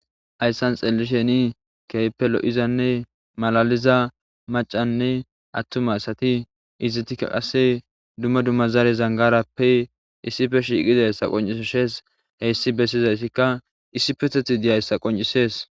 Haysan xelishsheni keehippe lo'izzanne malalizza mac'anne attuma asati izzetika kasse dumma dumma zare zangarappe issippe shiqqidayssa qonc'isses hayssi bessizayssikka issippeththethi dizzayissa qonc'ises.